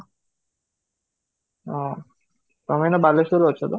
ହଁ, ତମେ ଏବେ ବାଲେଶ୍ୱର ରେ ଅଛ ତ?